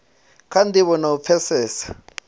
kha ndivho na u pfesesa